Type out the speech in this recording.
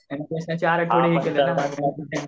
MC चार तवंडे